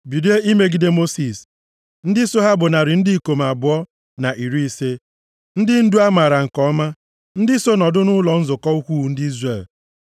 bilie imegide Mosis. Ndị so ha bụ narị ndị ikom abụọ na iri ise, ndị ndu a maara nke ọma, ndị so nọdụ nʼụlọ nzukọ ukwuu ndị Izrel.